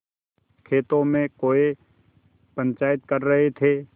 खेतों में कौए पंचायत कर रहे थे